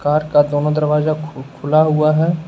Car का दोनों दरवाजा खु खुला हुआ है।